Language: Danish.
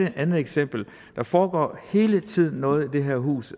et andet eksempel der foregår hele tiden noget i det her hus